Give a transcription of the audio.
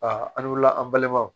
Aa an wilila an balimaw